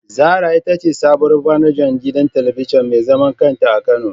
Zara itace sabuwar manajar gidan talabijin mezaman kanta a kano